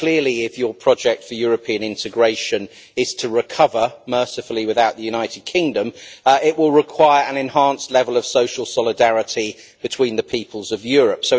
Clearly, if your project for European integration is to recover mercifully, without the United Kingdom it will require an enhanced level of social solidarity between the peoples of Europe.